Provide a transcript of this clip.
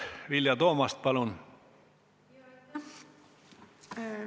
Vilja Toomast, palun!